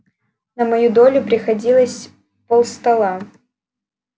на мою долю приходилось пол стола